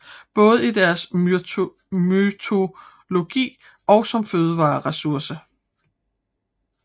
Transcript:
Både i deres mytologi og som føderessource